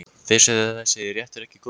Finnst þér þessi réttur ekki góður?